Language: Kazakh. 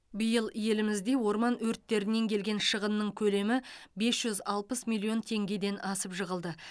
биыл елімізде орман өрттерінен келген шығынның көлемі бес жүз алпыс миллион теңгеден асып жығылды